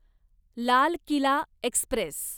Lal Qila Express